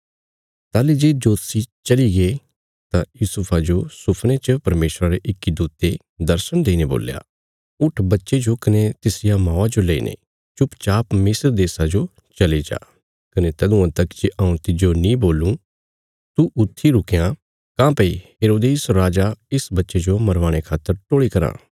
ताहली जे जोतषी चलीगे तां यूसुफा जो सुफने च परमेशरा रे इक्की दूते दर्शण देईने बोल्या उट्ठ बच्चे जो कने तिसरिया मौआ जो लेईने चुपचाप मिस्र देशा जो चली जा कने तदुआं तक जे हऊँ तिज्जो नीं बोलूं तू ऊत्थी रुकयां काँह्भई हेरोदेस राजा इस बच्चे जो मरवाणे खातर टोल़ी कराँ